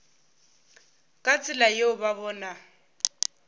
ka tsela yeo ba bona